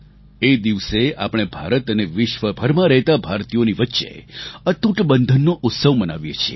એ દિવસે આપણે ભારત અને વિશ્વભરમાં રહેતા ભારતીયોની વચ્ચે અતૂટ બંધનનો ઉત્સવ મનાવીએ છીએ